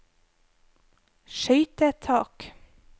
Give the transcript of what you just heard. skøytetak